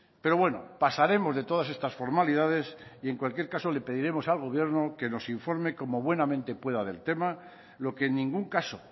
pero bueno pasaremos de todas estas formalidades y en cualquier caso le pediremos al gobierno que nos informe como buenamente pueda del tema lo que en ningún caso